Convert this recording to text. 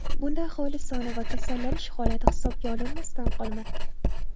Bunda aholi soni va kasallanish holati hisobga olinmasdan qolmoqda.